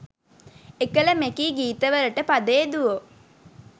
එකල මෙකී ගීත වලට පද යෙදුවෝ